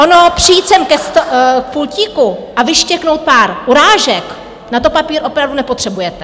Ono přijít sem k pultíku a vyštěknout pár urážek, na to papír opravdu nepotřebujete.